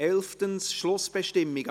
11. Schlussbestimmungen